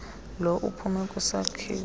lo uphume kwisakhiwo